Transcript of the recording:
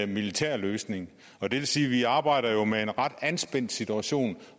militær løsning og det vil sige at vi arbejder med en ret anspændt situation